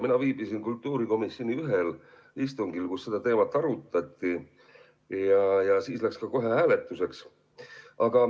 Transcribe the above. Mina viibisin kultuurikomisjoni ühel istungil, kus seda teemat arutati ja läks kohe ka hääletuseks.